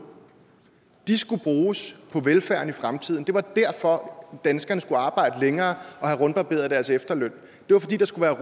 skulle bruges på velfærden i fremtiden det var derfor danskerne skulle arbejde længere og have rundbarberet deres efterløn det var fordi der skulle